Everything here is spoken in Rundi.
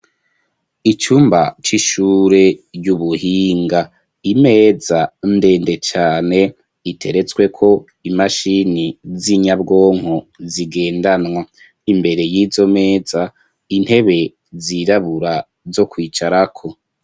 Ucumba ry'ishure y'ubuhinga imeza ndende cane iteretsweko imashini z'inyabwonko zigendanwa imbere y'izo meza intebe zirabura zo kwicarako.